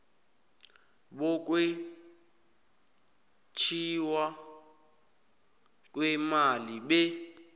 bokwetjiwa kweemali be